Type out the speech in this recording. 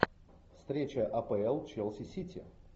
встреча апл челси сити